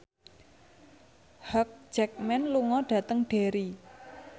Hugh Jackman lunga dhateng Derry